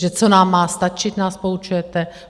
Že co nám má stačit, nás poučujete?